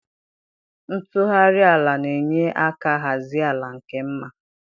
Ntughari ala na-enye aka hazie ala nke mma.